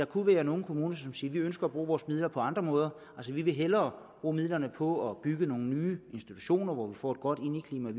kunne være nogle kommuner som siger vi ønsker at bruge vores midler på andre måder altså vi vil hellere bruge midlerne på at bygge nogle nye institutioner hvor vi får et godt indeklima og